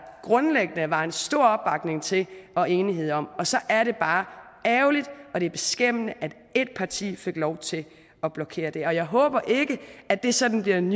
grundlæggende var en stor opbakning til og enighed om og så er det bare ærgerligt og det er beskæmmende at ét parti fik lov til at blokere det jeg håber ikke at det sådan bliver den